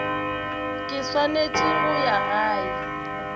ke swanetse go ya gae